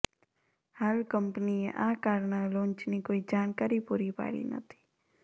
હાલ કંપનીએ આ કારના લોન્ચની કોઈ જાણકારી પુરી પાડી નથી